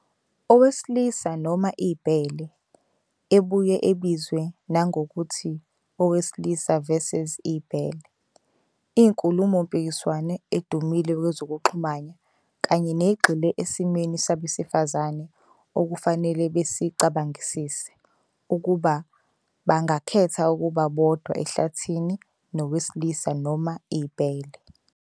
"Owesilisa noma ibhele", ebuya ebizwa nangokuthi "owesilisa vs. ibhele", iyinkulumo-mpikiswano edumile kwezokuxhumana kanye ` egxile esimweni sabesifazane okufanele besicabangisise- ukuba bangakhetha ukuba bodwa ehlathini nowesilisa noma ibhele.